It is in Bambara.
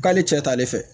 K'ale cɛ t'ale fɛ